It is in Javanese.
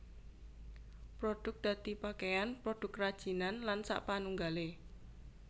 Produk dadi pakaian produk kerajinan lan sakpanunggalé